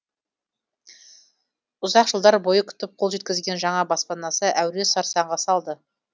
ұзақ жылдар бойы күтіп қол жеткізген жаңа баспанасы әуре сарсаңға салды